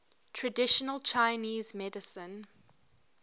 traditional chinese medicine